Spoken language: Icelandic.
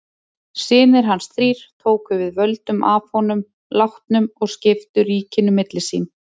Synir hans þrír tóku við völdum að honum látnum og skiptu ríkinu milli sín.